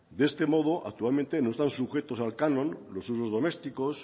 de este modo actualmente no están sujetos al canon los usos domésticos